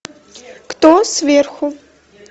кто сверху